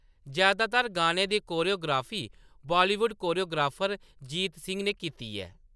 जैदातर गानें दी choreography Bollywood choreographer Jeet Singh ने कीती ऐ।